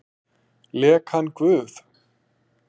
Lék hann guð?